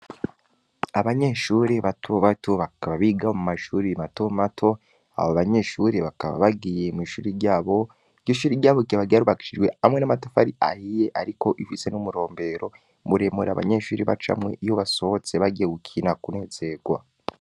Abanyeshuri batbato bakaba biga mu mashuri bimato mato abo abanyeshuri bakaba bagiye mw'ishuri ryabo ig ishuri ryabo kibagiy arubaksijwe hamwe n'amatafari ahiye, ariko ifise n'umurombero muremura abanyeshuri b'acamwe iyo basohotse bagewukina kunezerwa.